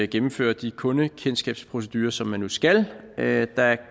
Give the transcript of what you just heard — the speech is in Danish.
gennemføre de kundekendskabsprocedurer som man nu skal da